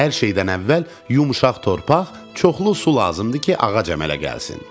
Hər şeydən əvvəl yumşaq torpaq, çoxlu su lazımdır ki, ağac əmələ gəlsin.